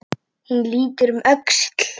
Hún lítur um öxl.